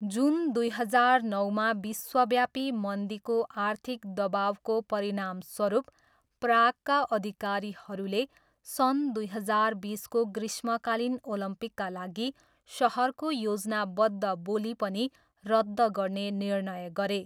जुन दुई हजार नौमा विश्वव्यापी मन्दीको आर्थिक दबाउको परिणामस्वरूप प्रागका अधिकारीहरूले सन् दुई हजार बिसको ग्रीष्मकालीन ओलम्पिकका लागि सहरको योजनाबद्ध बोली पनि रद्द गर्ने निर्णय गरे।